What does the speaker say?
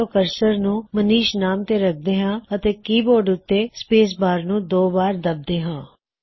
ਚਲੋ ਅਪਣਾ ਕਰਸਰ ਮਨੀਸ਼ ਨਾਮ ਤੇ ਰਖਦੇ ਹਾਂ ਅਤੇ ਕੀਬੋਰਡ ਉੱਤੇ ਸ੍ਪੇਸ ਬਾਰਨੂੰ ਦੋ ਵਾਰ ਦੱਬਦੇ ਹਾਂ